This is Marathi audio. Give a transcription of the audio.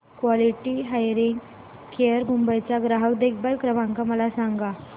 क्वालिटी हियरिंग केअर मुंबई चा ग्राहक देखभाल क्रमांक मला सांगा